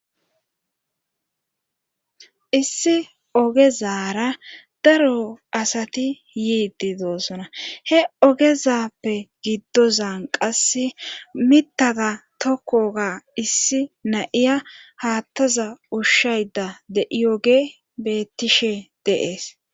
issi ogezara daro asati yiidi doossona he ogezappe giddozan qasse mittada tokkoga issi naiya haattaza ushshayda dei7oge bettishe de7ees